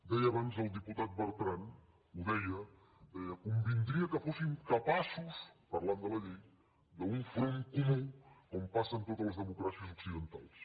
deia abans el diputat bertran ho deia deia convindria que fóssim capaços parlant de la llei d’un front comú com passa a totes les democràcies occidentals